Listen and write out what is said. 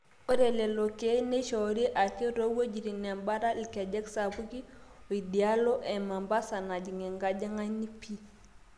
ore lelo keek neishoori ake toowuejitin embata ilkejek sapuki oidialo emambasa najing enkajang'ani pii